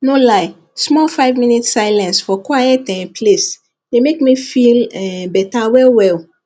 no lie small five minutes silence for quiet um place dey make me feel um better well well